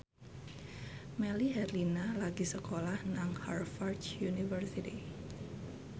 Melly Herlina lagi sekolah nang Harvard university